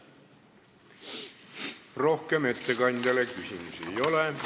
Rohkem ettekandjale küsimusi ei ole.